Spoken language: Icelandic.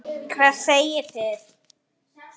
Hvað segið þið?